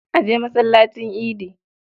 A je masallacin idi.